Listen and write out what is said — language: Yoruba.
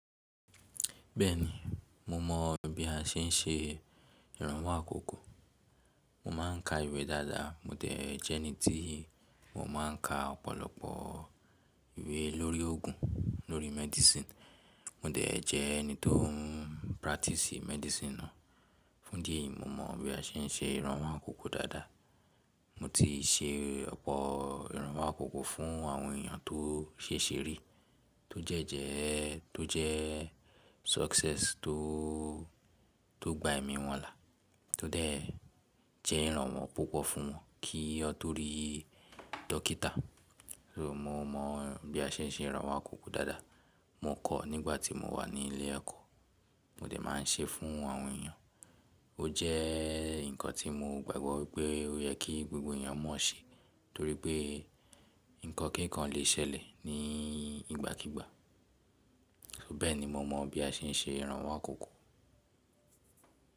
Bẹ́ẹ̀ni, mo mọ̀ bí a ṣe ń ṣe ìrànwọ́ àkọ́kọ́. Mo máa ń ka ìwé dáadáa, mo dẹ̀ jẹ́ ẹni tíì mo máa ń ka ọ̀pọ̀lọpọ̀ ìwé lórí òògùn, lórí medicine. Mo dẹ̀ jẹ́ ẹni tó ń practice medicine náà. Fún idi eyìí mo mọ̀ bí a ṣe ń ṣe ìrànwọ́ àkoko dáadáa. Mo ti ṣe ọ̀pọ̀ ìrànwọ́ àkọ́kọ́ fún àwọn èèyàn tó ṣè ṣe rí, tó dẹ jẹ́, tó jẹ́ success tó, tó gba ẹ̀mí wọn là, tó dẹ̀ jẹ́ ìrànwọ́ púpọ̀ fún wọn kí wọ́n to rí dókítà. So mo mọ̀ bí a ṣe ń ṣe ìrànwọ́ àkọ́kọ́ dáadáa. Mo kọ̀ ọ́ nígbà tí mo wà ní ilé ẹ̀kọ́, mo dẹ̀ máa ń ṣe é fún àwọn èèyàn. Ó jẹ́ nǹkan tí mo gbàgbọ́ wípé ó yẹ kí gbogbo èèyàn mọ̀ ṣe torí pé nǹkan kínkan lè ṣẹlẹ̀ ní ìgbàkígbà. So bẹ́ẹ̀ni mo mọ̀ bí a ṣe ń ṣe ìrànwọ́ àkọ́kọ́.